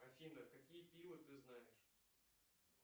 афина какие пилы ты знаешь